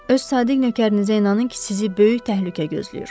Öz sadiq nökərinizə inanın ki, sizi böyük təhlükə gözləyir.